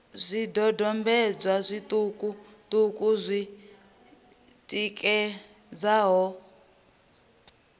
zwidodombedzwa zwiṱuku ṱuku zwi tikedzaho